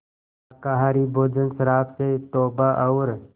शाकाहारी भोजन शराब से तौबा और